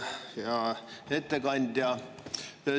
Hea ettekandja!